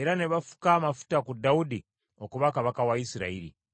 era ne bafuka amafuta ku Dawudi okuba kabaka wa Isirayiri .